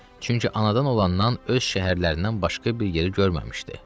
Çünki anadan olandan öz şəhərlərindən başqa bir yeri görməmişdi.